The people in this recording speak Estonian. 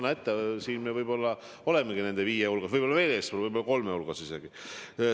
No näete, selles mõttes me võib-olla olemegi nende viie hulgas, võib-olla kolme hulgas isegi.